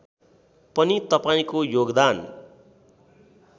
पनि तपाईँको योगदान